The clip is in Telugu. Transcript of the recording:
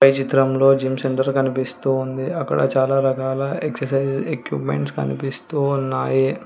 ఈ చిత్రంలో జిమ్ సెంటర్ కనిపిస్తూ ఉంది అక్కడ చాలా రకాల ఎక్సర్సైజ్ ఎక్విప్మెంట్ కనిపిస్తూ ఉన్నాయి.